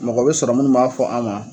Mɔgɔ bɛ sɔrɔ minnu b'a fɔ an ma